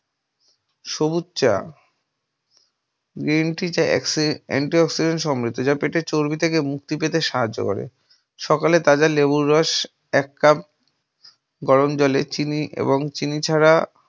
সবুজ চা green tea যা অ্যাক্সি anti oxidant সমৃদ্ধ যা পেটের চর্বি থেকে মুক্তি পেতে সাহায্য করে। সকালে তাদের লেবুর রস এক cup গরমজলে চিনি এবং চিনি ছাড়া